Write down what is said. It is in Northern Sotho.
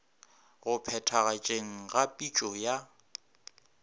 go phethagatšeng ga pitšo ya